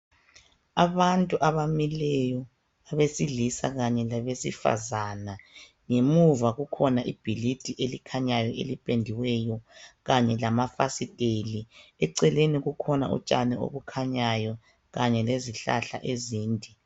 Abantu abamileyo abesilisa kanye labesifazana ngemuva kukhona ibhilidi elikhanyayo elipendiweyo kanye lamafasiteli eceleni kukhona utshani obukhanyayo kanye lezihlahla ezinde.